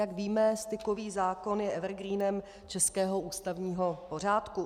Jak víme, stykový zákon je evergreenem českého ústavního pořádku.